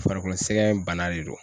Farikolo sɛgɛn bana de don.